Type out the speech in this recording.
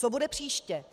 Co bude příště?